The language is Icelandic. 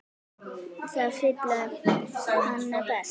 Það fílaði hann best.